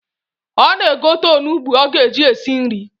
Ọ na-egote onugbu o ga-eji esi nri.